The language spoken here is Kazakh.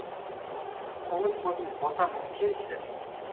қоңыр қозым ботам келші